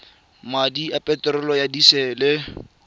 madi a peterolo ya disele